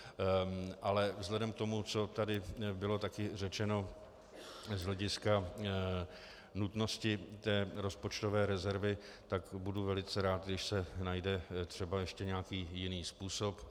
Ale vzhledem k tomu, co tady bylo taky řečeno z hlediska nutnosti té rozpočtové rezervy, tak budu velice rád, když se najde třeba ještě nějaký jiný způsob.